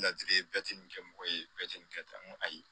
Ladili bɛɛ tɛ nin kɛ mɔgɔ ye bɛɛ tɛ nin kɛ tan n ko ayi